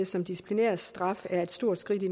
som disciplinærstraf er et stort skridt i